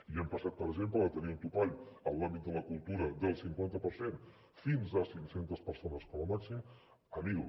i hem passat per exemple de tenir un topall en l’àmbit de la cultura del cinquanta per cent fins a cinc centes persones com a màxim a mil